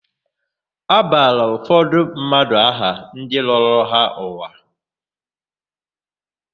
A bara ụfọdụ mmadụ aha ndị lọrọ ha ụwa.